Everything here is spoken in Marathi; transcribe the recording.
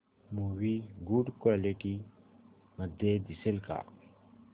मूवी गुड क्वालिटी मध्ये दिसेल का